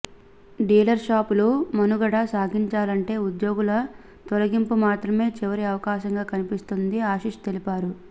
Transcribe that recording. dealer షాపులు మనుగడ సాగించాలంటే ఉద్యోగుల తొలగింపు మాత్రమే చివరి అవకాశంగా కనిపిస్తుందని ఆశిష్ తెలిపారు